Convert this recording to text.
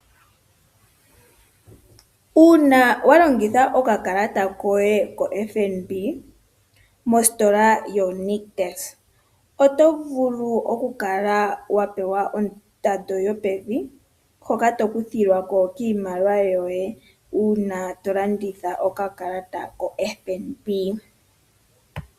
Uuna walongitha okakalata koye ko FNB, mositola yoNictus, oto vulu okukala wa pewa ondando yopevi, hoka tokuthilwa ko kiimaliwa yoye, uuna tolongitha okakalata ko FNB.